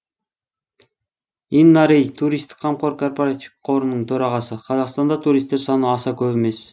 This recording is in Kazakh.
инна рей туристік қамқор корпоративтік қорының төрағасы қазақстандық туристер саны аса көп емес